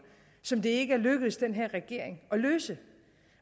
som det ikke er lykkedes den her regering at løse